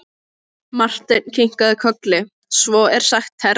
Marteinn kinkaði kolli:-Svo er sagt herra.